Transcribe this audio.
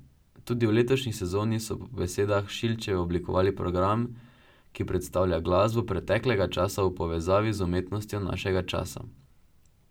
Tudi v letošnji sezoni so po besedah Šilčeve oblikovali program, ki predstavlja glasbo preteklega časa v povezavi z umetnostjo našega časa.